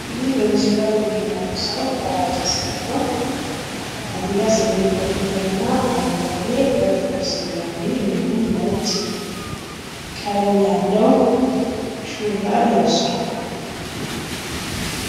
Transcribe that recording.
ይህ በምስሉ ላይ የምናየው ሰው ታዋቂ ሰው ነው። አዲዳስ የሚል ኮፍያ እና አረንጓዴ በጥቁር ሰማያዊ እንዲሁም ነጭ ቀለም ያለው ሹራብ ለብሷል።